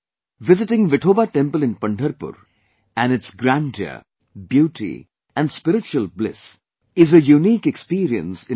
Visiting Vithoba temple in Pandharpur and its grandeur, beauty and spiritual bliss is a unique experience in itself